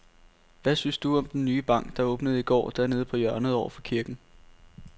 Hvad synes du om den nye bank, der åbnede i går dernede på hjørnet over for kirken?